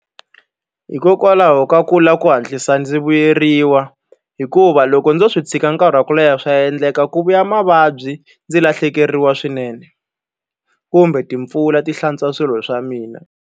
Hikokwalaho ka ku lava ku hatlisa ndzi vuyeriwa. Hikuva loko ndzo swi tshika nkarhi wa ku leha swa endleka ku vuya mavabyi, ndzi lahlekeriwa swinene. Kumbe timpfula ti hlantswa swilo swa mina.